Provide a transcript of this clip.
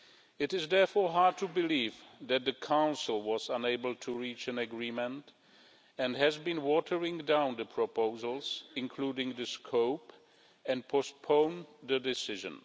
It is, therefore, hard to believe that the Council was unable to reach an agreement and has been watering down the proposals, including the scope, and has postponed the decision.